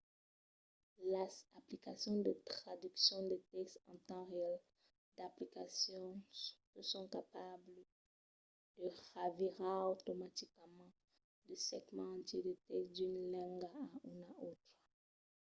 las aplicacions de traduccion de tèxt en temps real - d'aplicacions que son capablas de revirar automaticament de segments entièrs de tèxt d'una lenga a una autra